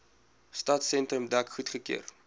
stadsentrum dek goedgekeur